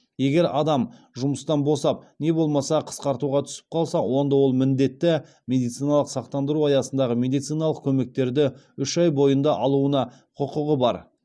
егер адам жұмыстан босап не болмаса қысқартуға түсіп қалса онда ол міндетті медициналық сақтандыру аясындағы медициналық көмектерді үш ай бойында алуына құқығы бар